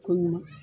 Ko ɲuman